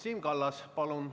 Siim Kallas, palun!